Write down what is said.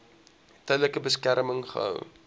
tydelike beskerming gehou